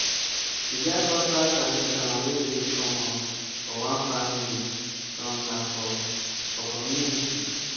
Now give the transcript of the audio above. e get cultural tradition wey dey common for one family some na for for community